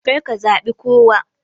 Karka zabe kowa.